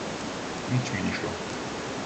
Nič mi ni šlo.